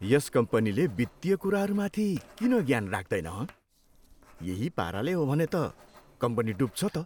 यस कम्पनीले वित्तीय कुराहरूमाथि किन ज्ञान राख्दैन, हँ? यही पाराले हो भने त कम्पनी डब्छ त।